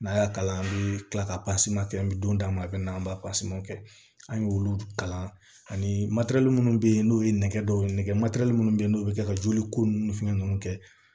N'a y'a kalan an bɛ kila ka kɛ an bɛ don d'a ma a bɛ na an b'a pan an y'olu kalan ani minnu bɛ yen n'o ye nɛgɛ dɔw ye nɛgɛ minnu bɛ yen n'o bɛ kɛ ka joli ko ninnu fɛnɛn ninnu kɛ